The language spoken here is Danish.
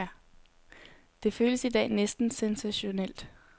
Det føles i dag næsten sensationelt.